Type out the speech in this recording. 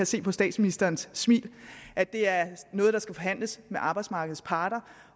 se på statsministerens smil at det er noget der skal forhandles med arbejdsmarkedets parter